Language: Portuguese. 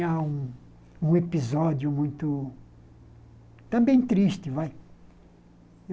Há um um episódio muito... Também triste, vai.